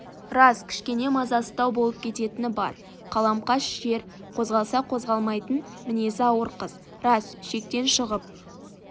рас кішкене мазасыздау болып кететіні бар қаламқас жер қозғалса қозғалмайтын мінезі ауыр қыз рас шектен шығып